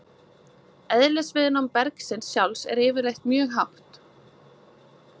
Eðlisviðnám bergsins sjálfs er yfirleitt mjög hátt.